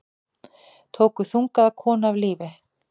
Tóku þungaða konu af lífi